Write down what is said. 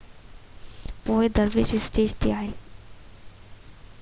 پوءِ درويش اسٽيج تي آهيا